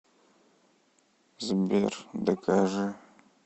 сбер докажи